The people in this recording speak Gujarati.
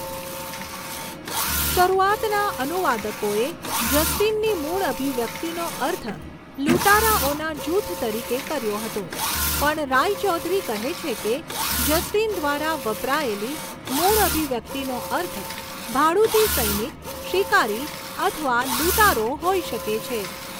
શરૂઆતના અનુવાદકોએ જસ્ટિનની મૂળ અભિવ્યક્તિનો અર્થ લૂંટારાઓના જૂથ તરીકે કર્યો હતો પણ રાયચૌધરી કહે છે કે, જસ્ટિન દ્વારા વપરાયેલી મૂળ અભિવ્યક્તિનો અર્થ ભાડૂતી સૈનિક, શિકારી અથવા લૂંટારો હોઈ શકે છે.